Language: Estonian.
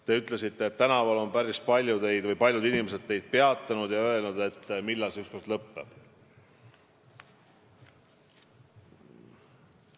Te ütlesite, et tänaval on päris paljud inimesed teid peatanud ja küsinud, millal see ükskord lõpeb.